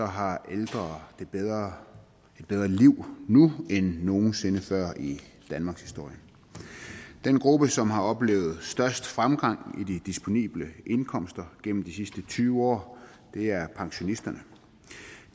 har ældre et bedre liv nu end nogen sinde før i danmarkshistorien den gruppe som har oplevet størst fremgang i den disponible indkomst gennem de sidste tyve år er pensionisterne